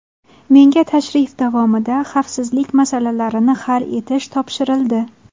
Menga tashrif davomida xavfsizlik masalalarini hal etish topshirildi.